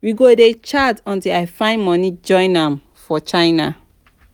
we go dey chat untill i find money join am for china.